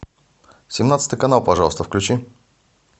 семнадцатый канал пожалуйста включи